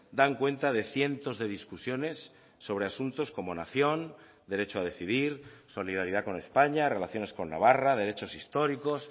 dan cuenta de cientos de discusiones sobre asuntos como nación derecho a decidir solidaridad con españa relaciones con navarra derechos históricos